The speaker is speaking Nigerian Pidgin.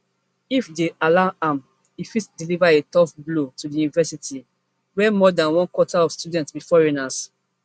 if dem allow am e fit deliver a tough blow to di university where more dan one quarter of students be foreigners